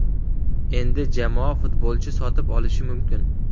Endi jamoa futbolchi sotib olishi mumkin.